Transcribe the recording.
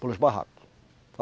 Pelos barracos.